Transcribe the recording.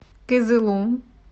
кызылу